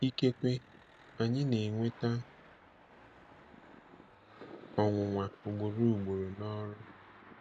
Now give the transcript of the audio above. Ikekwe anyị na-enweta ọnwụnwa ugboro ugboro n'ọrụ.